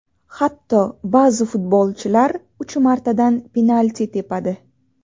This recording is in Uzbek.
Hatto ba’zi futbolchilar uch martadan penalti tepadi.